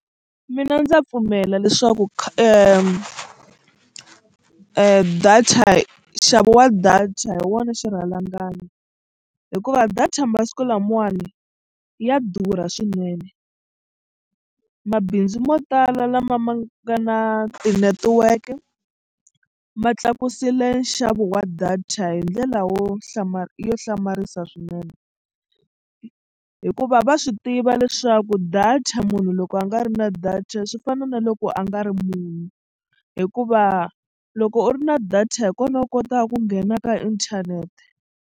Mina ndza pfumela leswaku data nxavo wa data hi wona xirhalanganyi hikuva data masiku lamawani ya durha swinene. Mabindzu yo tala lama nga na tinetiweke ma tlakusile nxavo wa data hi ndlela wo yo hlamarisa swinene hikuva va swi tiva leswaku data munhu loko a nga ri na data swi fana na loko a nga ri munhu hikuva loko u ri na data hi kona u kotaka ku nghena ka inthanete.